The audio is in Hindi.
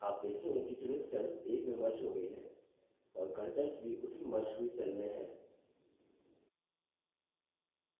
आप देखेंगे कि चुनित cells एक में merged हो गई है और contents भी उसी merged हुई cells में हैं